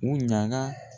U ɲaga